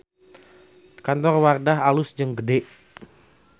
Kantor Wardah alus jeung gede